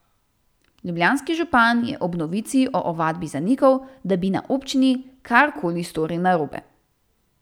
Ljubljanski župan je ob novici o ovadbi zanikal, da bi na občini kar koli storili narobe.